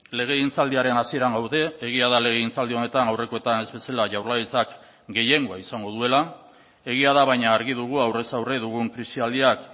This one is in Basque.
legegintzaldiaren hasieran gaude egia da legegintzaldi honetan aurrekoetan ez bezala jaurlaritzak gehiengoa izango duela egia da baina argi dugu aurrez aurre dugun krisialdiak